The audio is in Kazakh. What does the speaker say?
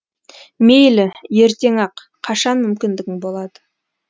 мейлі ертең ақ қашан мүмкіндігің болады